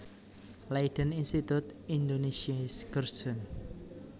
Leiden Instituut Indonesische Cursussen